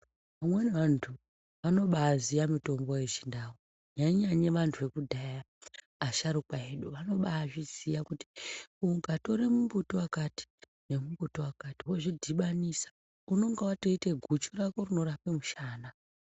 Vamweni vantu vanobaziya mitombo yechindau, nyanyanye vantu vekudhaya asharukwa edu vanobazviziya kuti ukatore mbuti wakati nemumbuti wakati wozvidhibanisa unenge watoite guchu rako rinorapa mushana.